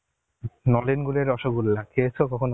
নলেন গুড়ের রসগোল্লা খেয়েছো কখনো?